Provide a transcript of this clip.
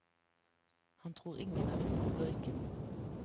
Han tror ingen er i stand til å rikke den.